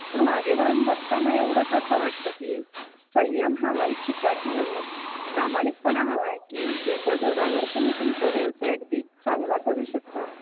तर मागे वळून बघताना एवढंच असं वाटतं की संयम हवा आहे चिकाटी हवी आहे प्रामाणिकपणा हवा आहे की ज्याच्या जोरावर तुम्ही तुमचा व्यवसाय अगदी चांगला करू शकताय.